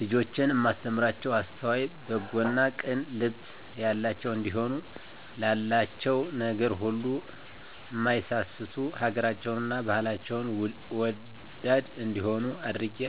ልጆቼን እማስተምራቸዉ አስተዋይ፣ በጎ እና ቅን ልብ ያላቸዉ እንዲሆኑ፣ ላላቸዉ ነገር ሁሉ እማይሳስቱ፣ ሀገራቸዉን እና ባህላቸዉን ወዳድ እንዲሆነ አድርጌ